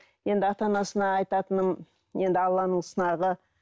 енді ата анасына айтатыным енді алланың сынағы